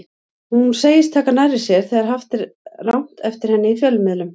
Hún segist taka nærri sér þegar haft er rangt eftir henni í fjölmiðlum.